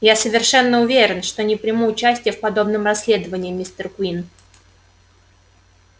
я совершенно уверен что не приму участия в подобном расследовании мистер куинн